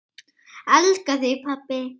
Elska þig, pabbi.